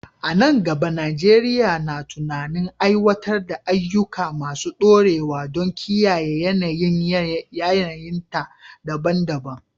A nan gaba, Najeriya na tunanin aiwatar da ayyuka masu dorewa don kiyaye yanayin yanayinta daban-daban.